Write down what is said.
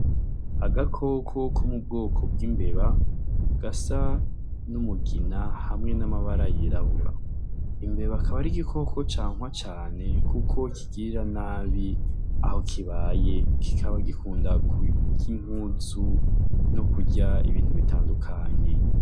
Agakoko ko mu bwoko bw'imbeba gasa n'umugina hamwe n'amabara yirabura. Imbeba akaba ari igikoko cankwa cane kuko kigirira nabi aho kibaye, kikaba gikunda kurya impuzu no kurya ibintu bitandukanye.